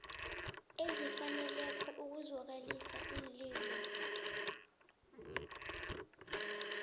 ezifaneleko ukuzwakalisa iinlilo